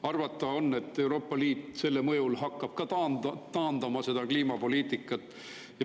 Arvata on, et ka Euroopa Liit hakkab selle mõjul kliimapoliitikat taandama.